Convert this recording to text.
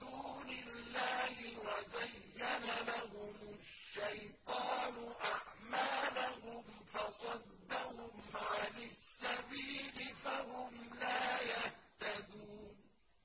دُونِ اللَّهِ وَزَيَّنَ لَهُمُ الشَّيْطَانُ أَعْمَالَهُمْ فَصَدَّهُمْ عَنِ السَّبِيلِ فَهُمْ لَا يَهْتَدُونَ